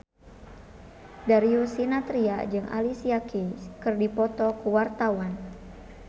Darius Sinathrya jeung Alicia Keys keur dipoto ku wartawan